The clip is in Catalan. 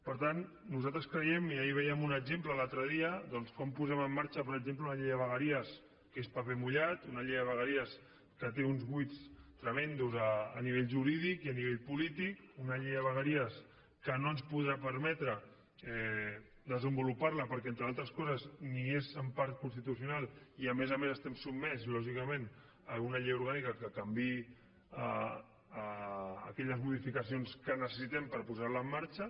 per tant nosaltres creiem i ahir en vèiem un exemple l’altre dia doncs com posem en marxa per exemple una llei de vegueries que és paper mullat una llei de vegueries que té uns buits tremends a nivell jurídic i a nivell polític una llei de vegueries que no ens podrà permetre desenvolupar la perquè entre altres coses ni és en part constitucional i a més a més estem sotmesos lògicament a una llei orgànica que canviï aquelles modificacions que necessitem per posar la en marxa